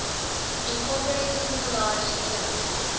incorporating collage elements